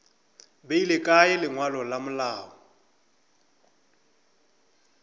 beile kae lengwalo la malao